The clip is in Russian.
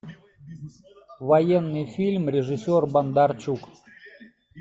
военный фильм режиссер бондарчук